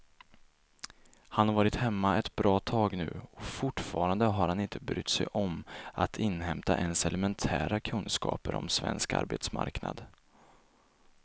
Han har varit hemma ett bra tag nu och fortfarande har han inte brytt sig om att inhämta ens elementära kunskaper om svensk arbetsmarknad.